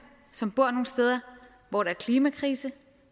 som bor nogle steder hvor der er klimakrise